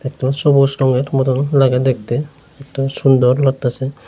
একটু সবুজ রঙের মতন লাগে দেখতে একটু সুন্দর লাগতাসে ।